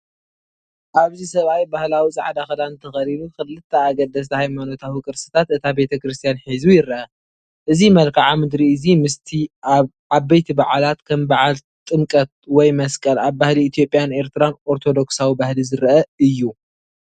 ኣብዚ ሰብኣይ ባህላዊ ጻዕዳ ክዳን ተኸዲኑ ክልተ ኣገደስቲ ሃይማኖታዊ ቅርስታት እታ ቤተክርስትያን ሒዙ ይረአ። እዚ መልክዓ ምድሪ እዚ ምስቲ ኣብ ዓበይቲ በዓላት ከም በዓል ቲምከት ወይ መስቀል ኣብ ባህሊ ኢትዮጵያን ኤርትራን ኦርቶዶክሳዊ ባህሊ ዝርአ እዩ።